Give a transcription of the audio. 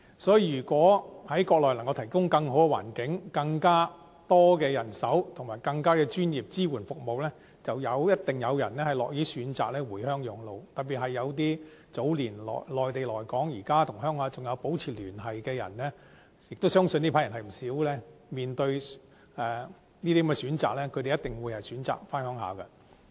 所以，如果能夠在國內提供更好的環境，更多的人手和更專業的支援服務，便一定有人樂意選擇回鄉養老，特別是早年從內地來港，現時仍與同鄉保持聯繫的人——亦相信這批人為數不少——面對這些選擇，他們一定選擇回鄉養老。